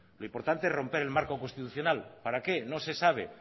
lo importante es romper el marco constitucional para qué no se sabe